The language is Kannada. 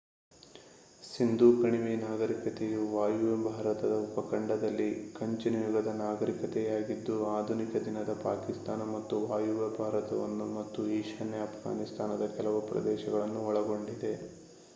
ಸಿಂಧೂ ಕಣಿವೆ ನಾಗರಿಕತೆಯು ವಾಯುವ್ಯ ಭಾರತದ ಉಪಖಂಡದಲ್ಲಿ ಕಂಚಿನ ಯುಗದ ನಾಗರಿಕತೆಯಾಗಿದ್ದು ಆಧುನಿಕ-ದಿನದ ಪಾಕಿಸ್ತಾನ ಮತ್ತು ವಾಯುವ್ಯ ಭಾರತವನ್ನು ಮತ್ತು ಈಶಾನ್ಯ ಅಫ್ಘಾನಿಸ್ತಾನದ ಕೆಲವು ಪ್ರದೇಶಗಳನ್ನು ಒಳಗೊಂಡಿದೆ